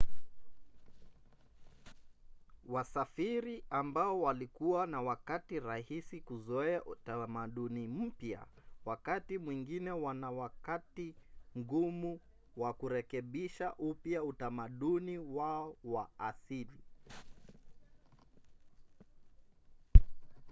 wasafiri ambao walikuwa na wakati rahisi kuzoea utamaduni mpya wakati mwingine wana wakati mgumu wa kurekebisha upya utamaduni wao wa asili